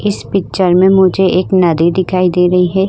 इस पिक्चर में मुझे एक नदी दिखाई दे रही है।